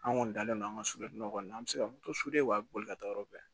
An kɔni dalen don an ka soden nɔ kɔni an bɛ se ka u b'a boli ka taa yɔrɔ bɛɛ